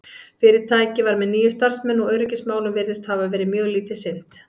fyrirtækið var með níu starfsmenn og öryggismálum virðist hafa verið mjög lítið sinnt